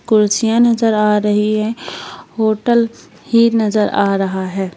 कुर्सियां नजर आ रही है होटल ही नजर आ रहा है।